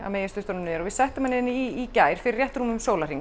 megi sturta honum niður við settum hann hérna í í gær fyrir rétt rúmum sólarhring